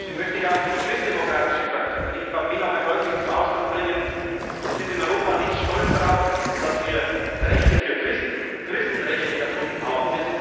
Christen. Deswegen möchte ich auch für die christdemokratische Fraktion, für die EVP, noch einmal deutlich zum Ausdruck bringen Wir sind in Europa nicht stolz darauf, dass wir Rechte für Christen, Christenrechte erfunden